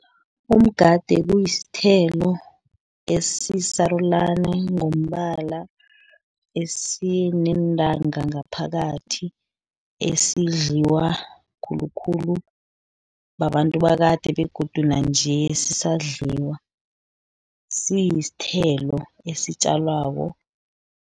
Umgade kuyisithelo esisarulani ngombala, esineentanga ngaphakathi, esidliwa khulukhulu babantu bakade, begodu nanje sisadliwa, siyisithelo esitjalwako.